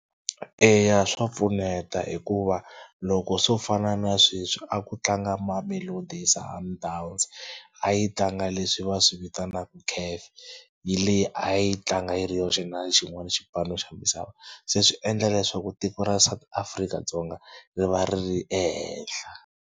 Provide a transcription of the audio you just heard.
Eya swa pfuneta hikuva loko swo fana na sweswi a ku tlanga Mamelodi Sundowns a yi tlanga leswi va swi vitanaka CAF. Hi leyi a yi tlanga yiri yoxe na xinwana xipano xa misava se swi endla leswaku tiko ra South Afrika-Dzonga ri va ri ri ehenhla.